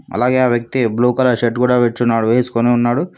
అలాగే ఆ వ్యక్తి బ్లూ కలర్ షర్ట్ కూడా పెట్టున్నాడు వేసుకుని ఉన్నాడు.